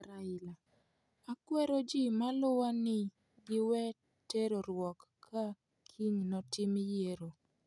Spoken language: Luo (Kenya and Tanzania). Raila: akwero ji maluwa ni giwe terruok ka kiny notim yiero.